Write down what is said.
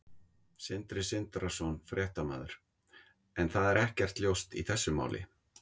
Sindri Sindrason, fréttamaður: En það er ekkert ljóst í þessu máli?